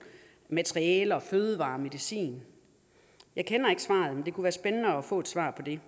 materialer fødevarer og medicin jeg kender ikke svaret men det kunne være spændende at få et svar på det